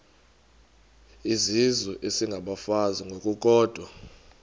izizwe isengabafazi ngokukodwa